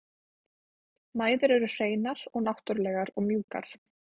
Mæður eru hreinar og náttúrlegar og mjúkar.